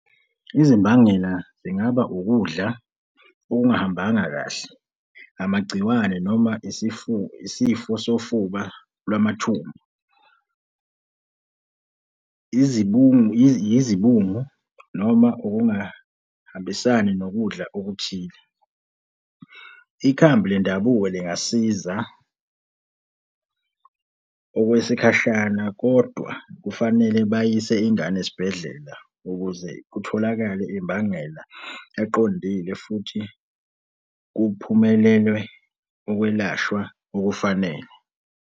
Izimbangela zingaba ukudla okungahambanga kahle. Amagciwane noma isifo sofuba lwamathumba. Yizibungu noma ukungahambisani nokudla okuthile. Ikhambi lendabuko lingasiza okwesikhashana kodwa kufanele bayise ingane esibhedlela ukuze kutholakale imbangela eqondile futhi kuphumelelwe ukwelashwa okufanele.